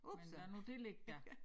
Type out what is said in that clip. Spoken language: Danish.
Men lad nu det ligge da